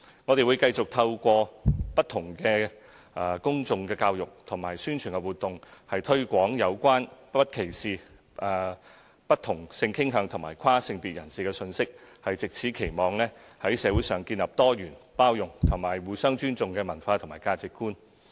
我們會繼續透過不同的公眾教育及宣傳活動，推廣有關不歧視不同性傾向及跨性別人士的信息，藉此期望在社會上建立多元、包容及互相尊重的文化和價值觀。